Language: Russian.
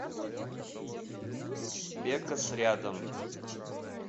бекас рядом